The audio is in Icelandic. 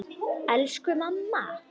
Elsku mamma mín.